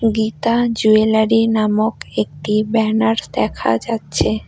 Gita jewellery নামক একটি banners দেখা যাচ্ছে।